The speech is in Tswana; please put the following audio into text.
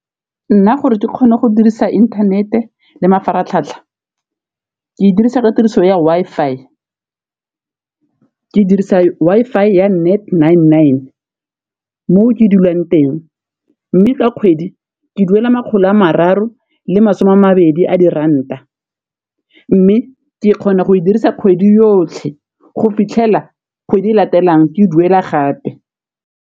Nna gore ke kgone go dirisa inthanete le mafaratlhatlha ke e dirisa ka tiriso ya Wi-Fi, ke dirisa Wi-Fi ya Net Nine Nine mo ke dulang teng, mme ka kgwedi ke duela makgolo a mararo le masome a mabedi a diranta, mme ke kgona go e dirisa kgwedi yotlhe go fitlhela kgwedi e latelang ke e duela gape.